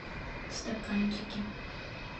в стаканчике